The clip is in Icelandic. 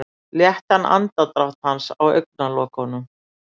Léttan andardrátt hans á augnalokunum.